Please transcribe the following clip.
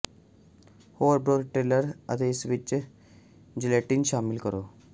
ਹੋਰ broth filter ਅਤੇ ਇਸ ਵਿੱਚ ਜੈਲੇਟਿਨ ਸ਼ਾਮਿਲ ਕਰੋ